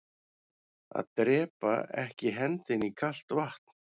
Að drepaa ekki hendinni í kalt vatn